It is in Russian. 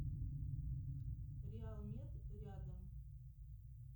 реалмед рядом